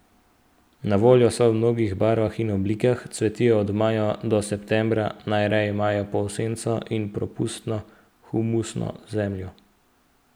Na voljo so v mnogih barvah in oblikah, cvetijo od maja do septembra, najraje imajo polsenco in propustno, humusno zemljo.